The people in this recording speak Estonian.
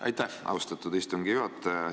Aitäh, austatud istungi juhataja!